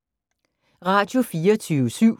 Radio24syv